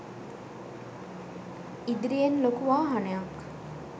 ඉදිරියෙන් ලොකු වාහනයක්